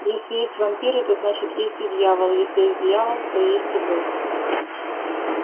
если есть вампиры то значит есть и дьявол если есть дьявол то есть и бог